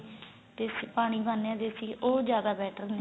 ਪਾਣੀ ਪਾਨੇ ਆ ਦੇਸੀ ਘੀ ਉਹ ਜਿਆਦਾ better ਨੇ